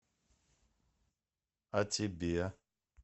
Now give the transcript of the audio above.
а тебе